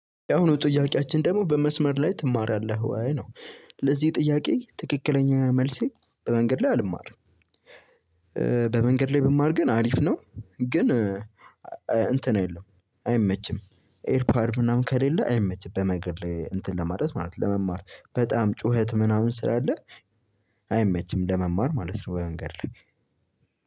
ያሁኑ ጥያቄያችን ደግሞ በመስመር ላይ ትማራለህ ወይ ነው? ለዚህ ጥያቄ ትክክለኛ መልሴ በመንገድ ላይ አልማርም። በመንገድ ላይ ብማር ግን አሪፍ ነው። ግን እንትን የለም አይመችም ኤርፓድ ምናምን ከሌለ አይመችም። በመንገድ እንትን ለማለት ማለት ነው ለመማር በጣም ጩኸት ምናምን ስላለ አይመችም ለመማር ማለት ነው። በመንገድ ላይ